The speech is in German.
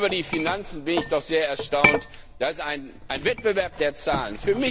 Über die Finanzen bin ich doch sehr erstaunt, das ist ein Wettbewerb der Zahlen.